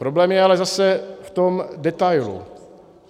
Problém je ale zase v tom detailu.